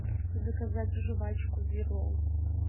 заказать жвачку дирол